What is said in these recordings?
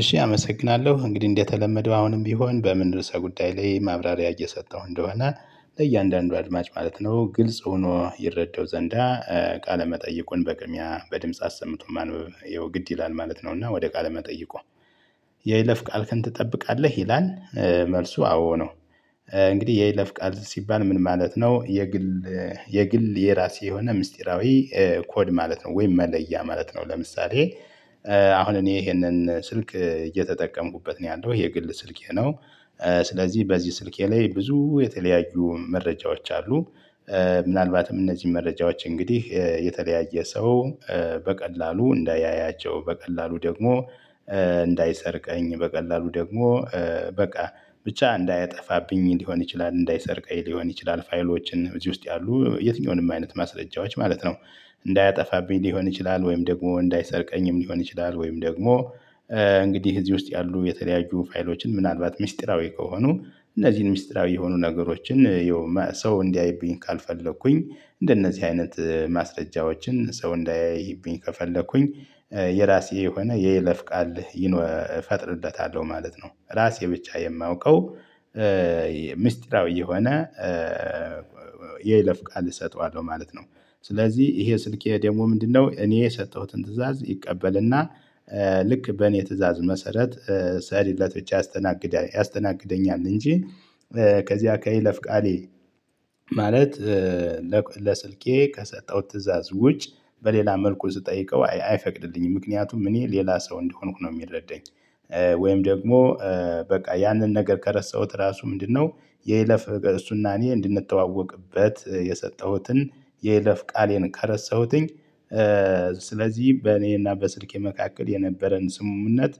እሺ አመሰግናለሁ እንግዲህ እንደተለመደው አሁንም ቢሆን በምን ርዕሰ ጉዳይ ላይ ማብራሪያ እየሰጠሁ እንደሆነ ለእያንዳንዱ አድማጭ ማለት ነው ግልጽ ሆኖ ይረዳው ዘንዳ ቃለመጠየቁን በቅሚያ በድምጽ አሰምቶ ማንበብ ያው ግድ ይላል ማለት ነው እና ወደ ቃለ መጠይቆ የይለፍ ቃልክን ትጠብቃለህ ይላል መልሱ አዎ ነው። እንግዲህ የይለፍ ቃል ሲባል ምን ማለት ነው? የግል የግል የራሴ የሆነ ምስጢራዊ ኮድ ማለት ነው ወይም መለያ ማለት ነው። ለምሳሌ አሁን እኔ ይሄንን ስልክ እየተጠቀምኩበት ነው ያለው የግል ስልኬ ነው። ስለዚህ በዚህ ስልኬ ላይ ብዙ የተለያዩ መረጃዎች አሉ። ምናልባትም እነዚህ መረጃዎች እንግዲህ የተለያየ ሰው በቀላሉ እንዳያያቸው በቀላሉ ደግሞ እንዳይሰርቀኝ በቀላሉ ደግሞ በቃ ብቻ እንዳያጠፋብኝ ሊሆን ይችላል። እንዳይሰርቀኝ ሊሆን ይችላል ፋይሎችን እዚህ ውስጥ ያሉ የትኛውንም አይነት ማስረጃዎች ማለት ነው። እንዳያጠፋብኝ ሊሆን ይችላል ወይም ደግሞ እንዳይሰርቀኝም ሊሆን ይችላል። ወይም ደግሞ እንግዲህ እዚህ ውስጥ ያሉ የተለያዩ ፋይሎችን ምናልባት ሚስጥራዊ ከሆኑ እነዚህን ሚስጥራዊ የሆኑ ነገሮችን የውም ሰው እንዲያይብኝ ካልፈለኩኝ እንደነዚህ አይነት ማስረጃዎችን ሰው እንዳያይብኝ ከፈለኩኝ የራሴ የሆነ የይለፍ ቃል እፈጥርለታለሁ ማለት ነው። ራሴ ብቻ የማውቀው ሚስጥራዊ የሆነ የይለፍቃል እሰጠዋለሁ ማለት ነው። ስለዚህ ይሄ ስልኬ ደግሞ ምንድነው? እኔ የሰጠሁትን ትእዛዝ ይቀበልና ልክ በእኔ ትእዛዝ መሰረት ሰሪለት ብቻ ያስተናግዳል ያስተናግደኛል እንጂ ከዚያ ከይለፍ ቃሌ ማለት ለስልኬ ከሰጠሁት ትእዛዝ ውጭ በሌላ መልኩ ስጠይቀው አይፈቅድልኝም ምክንያቱም እኔ ሌላ ሰው እንደሆንኩ ነው የሚረዳኝ። ወይም ደግሞ በቃ ያንን ነገር ከረሳሁት ራሱ ምንድነው? የይለፍ እሱና እኔ እንድንተዋወቅበት የሰጠሁትን የይለፍ ቃሌን ከረሳሁትኝ ስለዚህ በእኔና በስልኬ መካከል የነበረን ስምምነት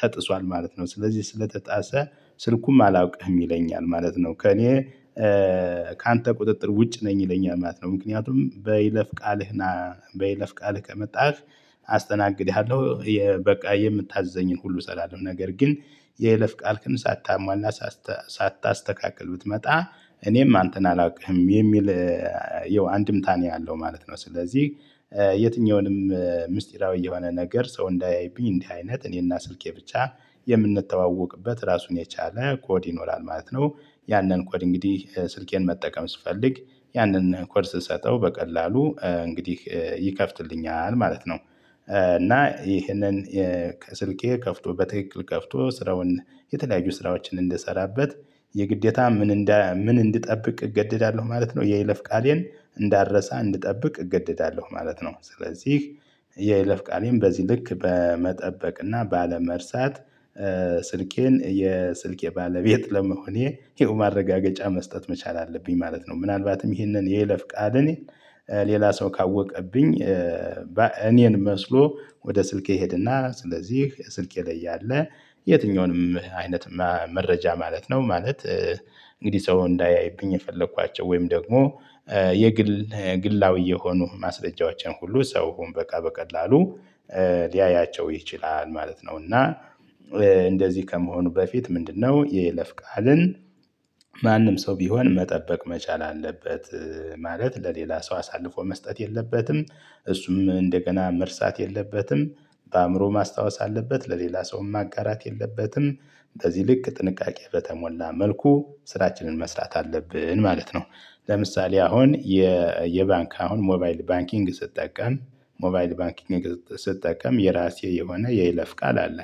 ተጥሷል ማለት ነው። ስለዚህ ስለተጣሰ ስልኩም አላውቅህም ይለኛል ማለት ነው። ከእኔ ካንተ ቁጥጥር ውጭ ነኝ ይለኛል ማለት ነው። ምክንያቱም በይለፍ ቃልህ ና በይለፍ ቃልህ ከመጣህ አስተናግድሃለሁ። በቃ የምታዘኝን ሁሉ ሰራለው ነገር ግን የለፍ ቃልክን ሳታሟላ ሳታስተካክል ብትመጣ እኔም አንተን አላውቅህም የሚል ያው አንድምታ ነው ያለው ማለት ነው። ስለዚህ የትኛውንም ምስጢራዊ የሆነ ነገር ሰው እንዳይቢኝ እንዲህ አይነት እኔና ስልኬ ብቻ የምንተዋወቅበት ራሱን የቻለ ኮድ ይኖራል ማለት ነው። ያንን ኮድ እንግዲህ ስልኬን መጠቀም ስፈልግ ያንን ኮድ ስሰጠው በቀላሉ እንግዲህ ይከፍትልኛል ማለት ነው። እና ይህንን ስልኬ ከፍቶ በትክክል ከፍቶ ስራውን የተለያዩ ስራዎችን እንድሰራበት የግዴታ ምን እንደ ምን እንድጠብቅ እገደዳለሁ ማለት ነው። የይለፍ ቃሌን እንዳረሳ እንድጠብቅ እገደዳለሁ ማለት ነው። ስለዚህ የይለፍ ቃሌም በዚህ ልክ በመጠበቅ እና ባለመርሳት ስልኬን የስልኬ ባለቤት ለመሆኔ ይህው ማረጋገጫ መስጠት መቻል አለብኝ ማለት ነው። ምናልባትም ይህንን የይለፍ ቃል እኔ ሌላ ሰው ካወቀብኝ እኔን መስሎ ወደ ስልኬ ሄድና ስለዚህ ስልኬ ላይ ያለ የትኛውንም አይነት መረጃ ማለት ነው ማለት እንግዲህ ሰው እንዳያይብኝ የፈለኳቸው ወይም ደግሞ የግል ግላዊ የሆኑ ማስረጃዎችን ሁሉ ሰውም በቃ በቀላሉ ሊያያቸው ይችላል ማለት ነው። እና እንደዚህ ከመሆኑ በፊት ምንድነው? የይለፍ ቃልን ማንም ሰው ቢሆን መጠበቅ መቻል አለበት። ማለት ለሌላ ሰው አሳልፎ መስጠት የለበትም እሱም እንደገና መርሳት የለበትም። በአእምሮ ማስታወስ አለበት ለሌላ ሰው ማጋራት የለበትም። እንደዚህ ልክ ጥንቃቄ በተሞላ መልኩ ስራችንን መስራት አለብን ማለት ነው። ለምሳሌ አሁን የ የባንክ አሁን ሞባይል ባንኪንግ ስጠቀም ሞባይል ባንኪንግ ስጠቀም የራሴ የሆነ የይለፍ ቃል አለ።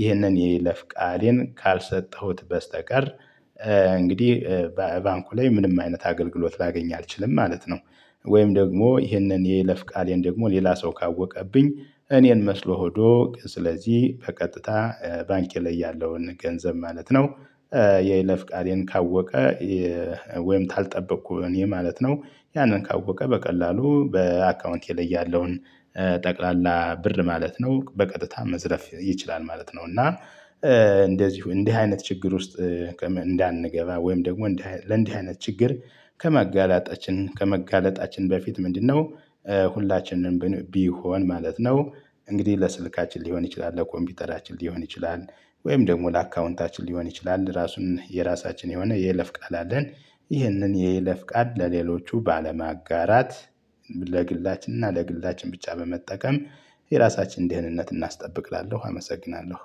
ይህንን የይለፍ ቃሌን ካልሰጠሁት በስተቀር እንግዲህ በባንኩ ላይ ምንም አይነት አገልግሎት ላገኝ አልችልም ማለት ነው። ወይም ደግሞ ይህንን የይለፍ ቃሌን ደግሞ ሌላ ሰው ካወቀብኝ እኔን መስሎ ሆዶ ስለዚህ በቀጥታ ባንኬ ላይ ያለውን ገንዘብ ማለት ነው። የይለፍ ቃሌን ካወቀ ወይም ካልጠበኩ እኔ ማለት ነው ያንን ካወቀ በቀላሉ በአካውንቴ ላይ ያለውን ጠቅላላ ብር ማለት ነው በቀጥታ መዝረፍ ይችላል ማለት ነው። እና እንደዚሁ እንዲህ አይነት ችግር ውስጥ እንዳንገባ ወይም ደግሞ ለእንዲህ አይነት ችግር ከመጋለጣችን ከመጋለጣችን በፊት ምንድነው? ሁላችንንም ቢሆን ማለት ነው። እንግዲህ ለስልካችን ሊሆን ይችላል ለኮምፒውተራችን ሊሆን ይችላል ወይም ደግሞ ለአካውንታችን ሊሆን ይችላል ራሱን የራሳችን የሆነ የይለፍ ቃል አለን። ይህንን የይለፍ ቃል ለሌሎቹ ባለማጋራት ለግላችንና ለግላችን ብቻ በመጠቀም የራሳችንን ድህንነት እናስጠብቅ እላለሁ። አመሰግናለሁ።